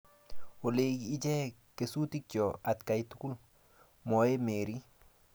olei ichek kesutikcho atkai tugul, mwoei Mary